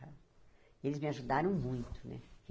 Eles me ajudaram muito, né?